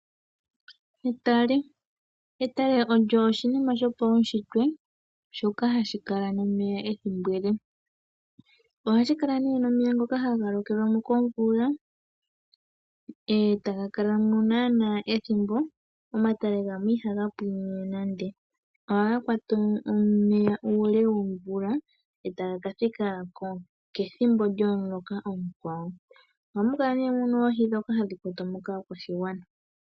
Etale, otale olyo oshinima sho pawushitwe ndjoka ha li kala nomeya ethimbo ele. Oha li kala ne nomeya ngoka ha ga lokelwa mo komvula eta ga kala mo naana ethimbo, omatale gamwe iha ga pwiinine nande, oha ga kwata omeya uule womvula eta ga ka thika kethimbo lyomuloka omukwawo. Oha mu kala ne muna oohi ndhoka ha dhi kwatwa mo kaakwashigwana.